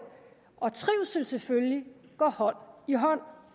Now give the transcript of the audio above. og trivsel selvfølgelig går hånd i hånd